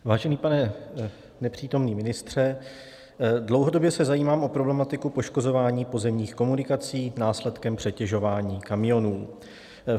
Vážený pane nepřítomný ministře, dlouhodobě se zajímám o problematiku poškozování pozemních komunikací následkem přetěžování kamionů.